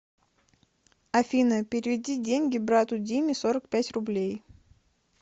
афина переведи деньги брату диме сорок пять рублей